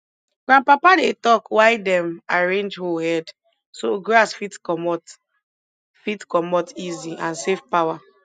grandpapa dey talk why dem arrange hoe head so grass fit comot fit comot easy and save power